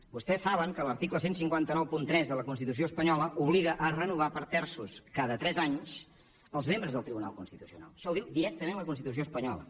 vostès saben que l’article quinze noranta tres de la constitució espanyola obliga a renovar per terços cada tres anys els membres del tribunal constitucional això ho diu directament la constitució espanyola